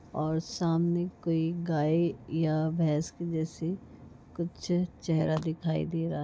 और सामने कोई गाय या भैंसक जैसे कुछ चेहरा दिखाई दे रहा--